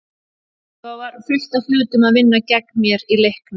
Svo var fullt af hlutum að vinna gegn mér í leiknum.